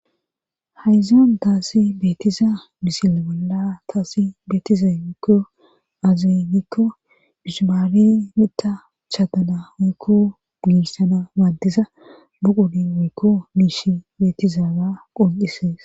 Hayzan daassi beetiza misil bolla taasi beetizemikko aaze giikko bishimaari mita chaadana woykko miissana maaddiza buqudi woykko miishi beetizaara qoncisees.